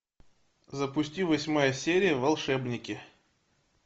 запусти восьмая серия волшебники